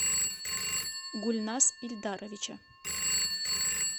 гульназ ильдаровича